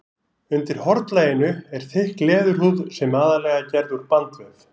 Undir hornlaginu er þykk leðurhúð sem er aðallega gerð úr bandvef.